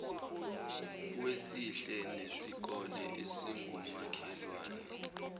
wesihle nesikole esingumakhelwane